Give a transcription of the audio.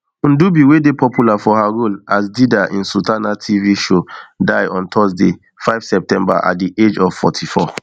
ndubi wey dey popular for her role as dida in sultana tv show die on thursday five september at di age of forty-four